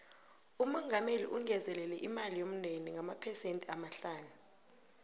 umongameli ungezelele imali yomndende ngamaphesende amahlanu